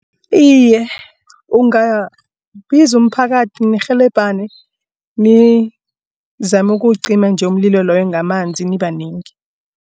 Iye, ungabiza umphakathi nirhelebhane nizame ukuwucima nje umlilo loyo ngamanzi nibanengi.